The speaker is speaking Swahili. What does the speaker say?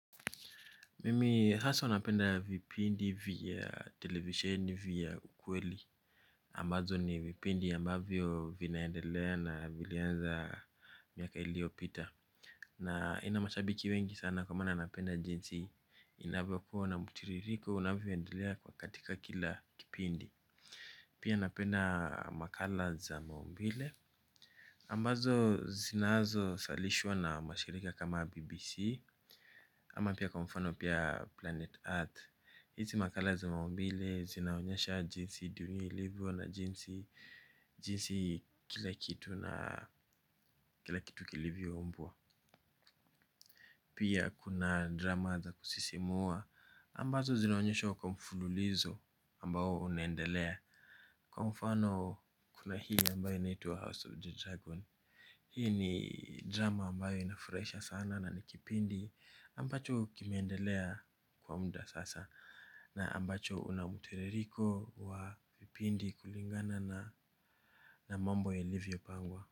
Mimi haswa napenda vipindi vya televisheni vya kweli. Ambazo ni vipindi ambavyo vinaendelea na vilianza miaka iliyopita. Na ina mashabiki wengi sana kwa maana napenda jinsi inavyokuwa na mtiririko unavyoendelea kwa katika kila kipindi. Pia napenda makala za maumbile ambazo zinazo salishwa na mashirika kama BBC. Ama pia kwa mfano pia Planet Earth. Hizi makala za maumbile zinaonyesha jinsi dunia ilivyo na jinsi jinsi kila kitu na kila kitu kilivyoumbwa pia kuna drama za kusisimua ambazo zinaonyeshwa kwa mfululizo ambao unaendelea kwa mfano kuna hii ambayo inaitwa House of the Dragon. Hii ni drama ambayo inafurahisha sana na ni kipindi ambacho kimeendelea kwa mda sasa. Na ambacho una mtiririko wa vipindi kulingana na na mambo yalivyopangwa.